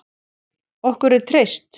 Okkur er treyst